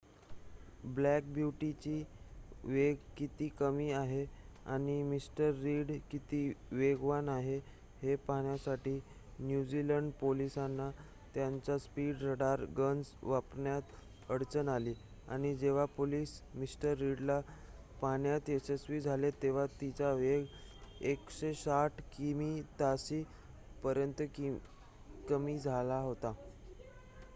black ब्यूटीचा वेग किती कमी आहे आणि मिस्टर रीड किती वेगवान आहे हे पाहण्यासाठी न्यूझीलंड पोलिसांना त्यांच्या स्पीड रडार गन्स वापरण्यात अडचण आली आणि जेव्हा पोलिस मिस्टर रीडला पाहण्यात यशस्वी झाले तेव्हा तिचा वेग 160 किमी/ताशी पर्यंत कमी झाला होता